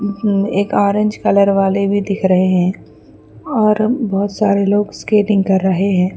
ایک orange colour والے بھی دیکھ رہے هی اور بھتہ سارے لوگ سکاتٹنگ کر رہے ھ.